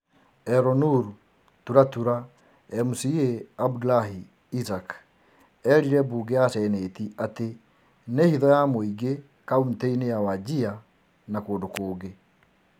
Elnur-Tulatula MCA Abdullahi Issack erire mbunge ya Seneti atĩ nĩ hitho ya mũingĩ kauntĩ -inĩ ya Wajir na kũndũ kũngĩ,